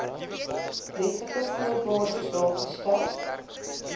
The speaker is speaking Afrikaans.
wetlike voorwaardes daargestel